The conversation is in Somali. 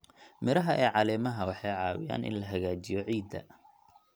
Midhaha ee caleemaha waxay caawiyaan in la hagaajiyo ciidda.